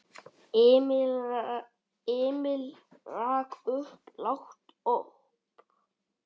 Emil rak upp lágt óp.